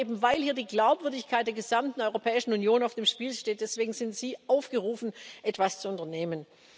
Aber eben weil hier die Glaubwürdigkeit der gesamten Europäischen Union auf dem Spiel steht, sind Sie aufgerufen, etwas zu unternehmen.